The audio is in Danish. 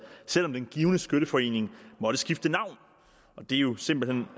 selv om den givne skytteforening måtte skifte navn det er jo simpelt hen